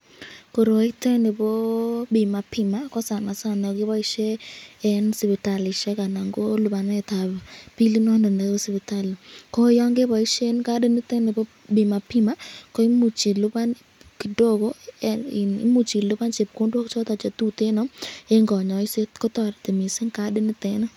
Koroitet nii ko Bima pima ko sana sana keboishen en sipitalishek anan ko libanetab bilit noton nebo sipitali, ko yoon keboishen kadinitet nibo Bima pima ko imuch iliban kidogo en iin imuch iliban chepkondok choton chetuteno en konyoiset, kotoreti mising kadinitet nii.